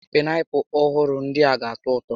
Paịnapụlụ ọhụrụ ndịa ga atọ ụtọ